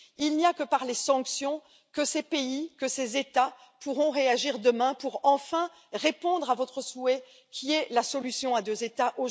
Il n'y a que par les sanctions que ces pays, que ces États, pourront réagir demain pour enfin répondre à votre souhait, qui est la solution à deux États.